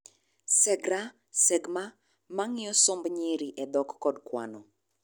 SeGRA , SeGMA mang'iyo somb nyiri e dhok kod kwano